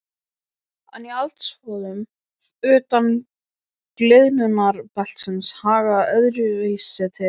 En í eldstöðvum utan gliðnunarbeltisins hagar öðruvísi til.